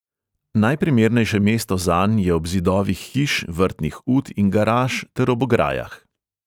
Najprimernejše mesto zanj je ob zidovih hiš, vrtnih ut in garaž ter ob ograjah.